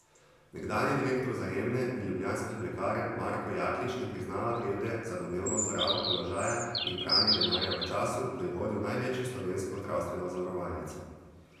Nekdanji direktor Vzajemne in Ljubljanskih lekarn Marko Jaklič ne priznava krivde za domnevno zlorabo položaja in pranje denarja v času, ko je vodil največjo slovensko zdravstveno zavarovalnico.